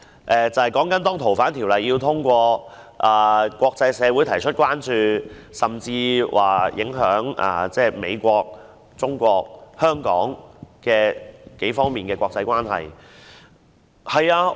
若然通過修訂《逃犯條例》，則國際社會會提出關注，甚至會影響我們與美國和國際社會的關係。